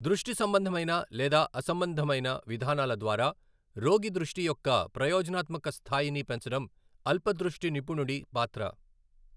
దృష్టి సంబంధమైన లేదా అసంబంధమైన విధానాల ద్వారా రోగి దృష్టి యొక్క ప్రయోజనాత్మక స్థాయిని పెంచడం అల్ప దృష్టి నిపుణుడి పాత్ర.